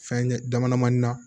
Fɛn ye damadama na